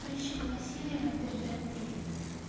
прыщик василий вам передаёт привет